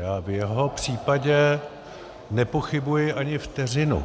Já v jeho případě nepochybuji ani vteřinu,